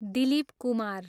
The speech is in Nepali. दिलीप कुमार